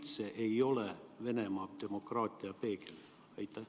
Ta ei ole üldse Venemaa demokraatia peegel.